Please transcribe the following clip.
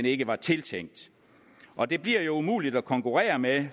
ikke var tiltænkt og det bliver jo umuligt at konkurrere med